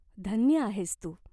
धन्य आहेस तू.